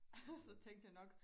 Og så tænkte jeg nok